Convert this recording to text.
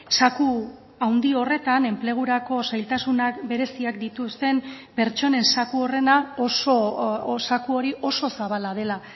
zaku handi horretan enplegurako zailtasunak bereziak dituzten pertsonen zaku horrena zaku hori oso zabala dela